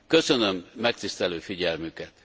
Köszönöm megtisztelő figyelmüket.